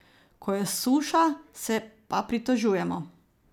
Ko je suša, se pa pritožujemo ...